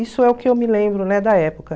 Isso é o que eu me lembro, né, da época.